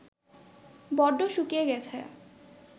বড্ড শুকিয়ে গেছে